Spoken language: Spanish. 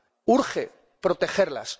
Urge protegerlas.